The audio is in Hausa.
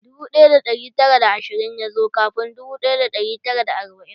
Dubu ɗaya da ɗari tara da ashirin ya zo kafin dubu ɗaya da ɗari tara da arba'in.